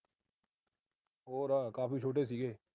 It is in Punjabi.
ਹੋਰ ਕਾਫੀ ਛੋਟੇ ਸੀਗੇ।